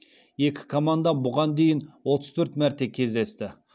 екі команда бұған дейін отыз төрт мәрте кездесті